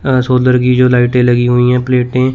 अह solar की जो लाइटें लगी हुई हैं प्लेटें --